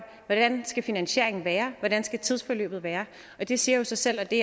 hvordan skal finansieringen være hvordan skal tidsforløbet være det siger jo sig selv og det